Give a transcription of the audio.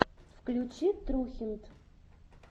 включи трухинт